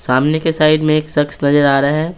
सामने के साइड में एक शख्स नजर आ रहा है।